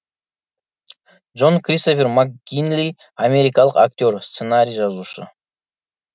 джон кристофер макгинли америкалық актер сценарий жазушы